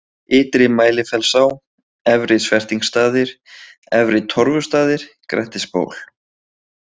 Ytri-Mælifellsá, Efri-Svertingsstaðir, Efri-Torfustaðir, Grettisból